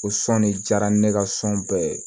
Ko sɔn de diyara ne ka sɔn bɛɛ ye